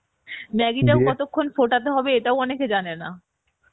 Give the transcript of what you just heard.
maggi কতক্ষণ ফোটাতে হবে ওটাও অনেকে জানে না